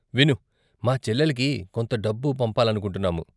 విను, మా చెల్లెలికి కొంత డబ్బు పంపాలనుకుంటున్నాము.